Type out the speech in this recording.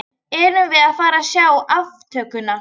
Erum við að fara að sjá aftökuna?